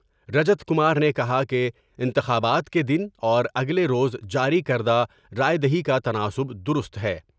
رجت کمار نے کہا کہ انتخابات کے دن اوراگلے روز جاری کردہ راۓ دہی کا تناسب درست ہے ۔